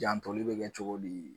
Jantoli bɛ kɛ cogo di